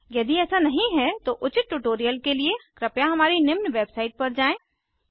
यदि ऐसा नहीं है तो उचित ट्यूटोरियल के लिए कृपया हमारी निम्न वेबसाईट पर जाएँ